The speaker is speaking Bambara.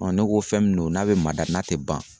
ne ko fɛn mun don n'a be mada n'a te ban